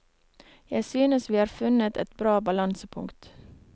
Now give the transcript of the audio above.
Jeg synes vi har funnet et bra balansepunkt.